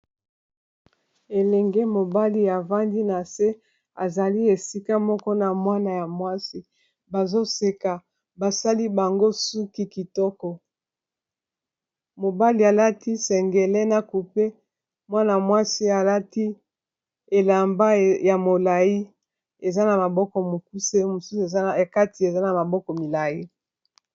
elenge mobali ya vandi na se azali esika moko na mwana ya mwasi bazoseka basali bango suki kitoko mobali alati sengele na coupe mwana a mwasi alati elamba ya molai eza na maboko mokuse mosusu kati eza na maboko milai